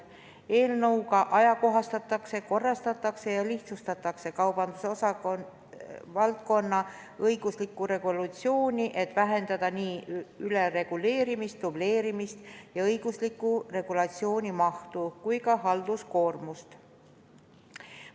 Eelnõuga ajakohastatakse, korrastatakse ja lihtsustatakse kaubanduse valdkonna õiguslikku regulatsiooni, et vähendada ülereguleerimist, dubleerimist ja õigusliku regulatsiooni mahtu, samuti halduskoormust.